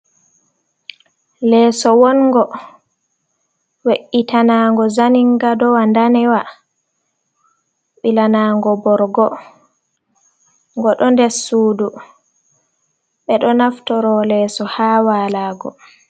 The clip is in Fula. Leso wongo we’itanango zanin gadowa danewa bilanango borgo go do der sudu be do naftoro leso ha walago.